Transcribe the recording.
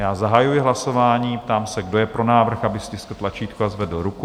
Já zahajuji hlasování, ptám se, kdo je pro návrh, aby stiskl tlačítko a zvedl ruku.